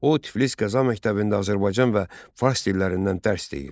O Tiflis qəza məktəbində Azərbaycan və fars dillərindən dərs deyir.